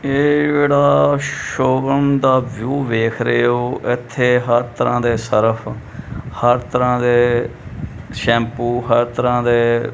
ਇਹ ਜਿਹੜਾ ਸ਼ੋਰੂਮ ਦਾ ਵਿਊ ਵੇਖਦੇ ਪਏ ਹੋ ਇੱਥੇ ਹਰ ਤਰਾਂ ਦੇ ਸਰਫ ਹਰ ਤਰ੍ਹਾਂ ਦੇ ਸ਼ੈਂਪੂ ਹਰ ਤਰ੍ਹਾਂ ਦੇ--